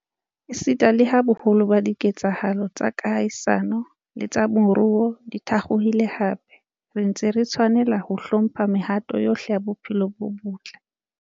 Esita leha boholo ba dike tsahalo tsa kahisano le tsa moruo di thakgohile hape, re ntse re tshwanela ho hlo mpha mehato yohle ya bophelo bo botle.